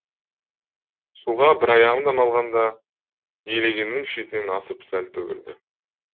суға бір аяғымды малғанда елегеннің шетінен асып сәл төгілді